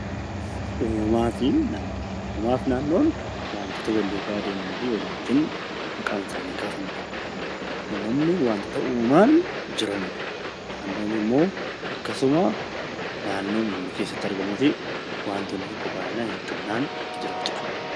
Uumamaa fi naannoon wantoota wal duukaa maqaan isaanii kaafamudha. Uumamni wantoota uumamaan jiranidha. Naannoon immoo naannoo nuti keessatti argamnuu fi baay'inaanjiraatudha.